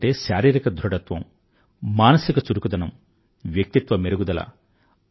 క్రీడలంటే శారీరిక ధృఢత్వం మానసిక చురుకుదనం వ్యక్తిత్వ మెరుగుదల